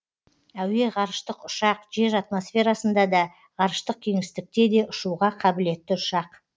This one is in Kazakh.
әуе ғарыштық ұшақ жер атмосферасында да ғарыштық кеңістікте де ұшуға қабілетті ұшақ